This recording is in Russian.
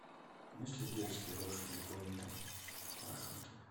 есть ли детские лошади пони там в вашем отеле